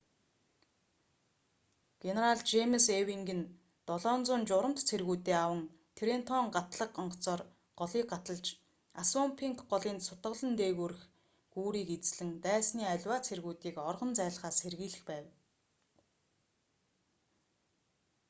генерал жэймс эйвинг нь 700 журамт цэргүүдээ аван трентон гатлага онгоцоор голыг гаталж ассунпинк голын цутгалан дээгүүрх гүүрийг эзлэн дайсны аливаа цэргүүдийг оргон зайлахаас сэргийлэх байв